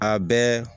A bɛɛ